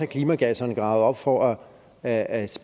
klimagasserne gravet op for at